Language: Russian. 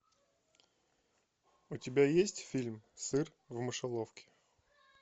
у тебя есть фильм сыр в мышеловке